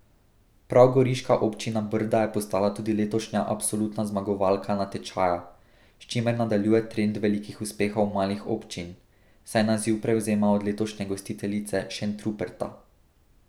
Prav goriška občina Brda je postala tudi letošnja absolutna zmagovalka natečaja, s čimer nadaljuje trend velikih uspehov malih občin, saj naziv prevzema od letošnje gostiteljice Šentruperta.